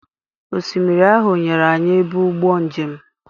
Osimiri ahụ nyere anyị ebe ụgbọ njem.